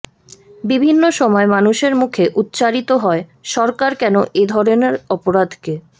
বিভিন্ন সময় মানুষের মুখে উচ্চারিত হয় সরকার কেন এ ধরনের অপরাধকে